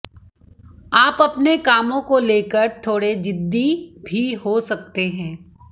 आप अपने कामों को लेकर थोड़े जिद्दी भी हो सकते हैं